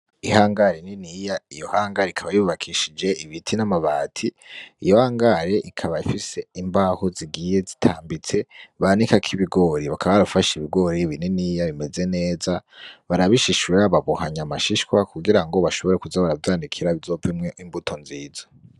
Ihangare niniya, iyo hangare ikaba yubakishije ibiti n'amabati, iyo hangare ikaba ifise imbaho zigiye zitambitse banikako ibigori bakaba barafasha ibigori bininiya bimeze neza barabishishura babohanya amashishwa kugira ngo bashobore kuza baravyanikira bizovemwo imbuto nziza.